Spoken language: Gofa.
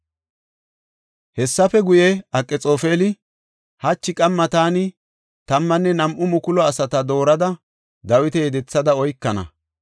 Hessafe guye, Akxoofeli, “Hachi qamma taani tammanne nam7u mukulu asata doorada Dawita yedethada oykana.